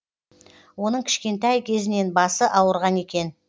оның кішкентай кезінен басы ауырған екен